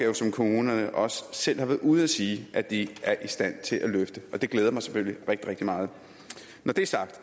kommunerne også selv har været ude at sige at de er i stand til at løfte og det glæder mig selvfølgelig rigtig rigtig meget når det er sagt